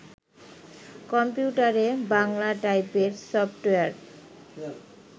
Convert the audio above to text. কম্পিউটারে বাংলা টাইপের soft wire